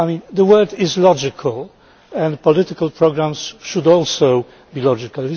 The world is logical, and political programmes should also be logical